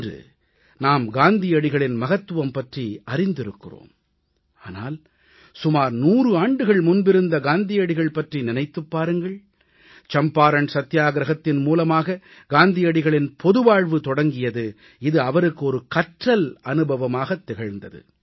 இன்று நாம் காந்தியடிகளின் மகத்துவம் பற்றி நாம் அறிந்திருக்கிறோம் ஆனால் சுமார் 100 ஆண்டுகள் முன்பிருந்த காந்தியடிகள் பற்றி நினைத்துப் பாருங்கள் சம்பாரண் சத்தியாகிரஹத்தின் மூலமாக காந்தியடிகளின் பொதுவாழ்வு தொடங்கியது இது அவருக்கு ஒரு கற்றல் அனுபவமாகத் திகழ்ந்தது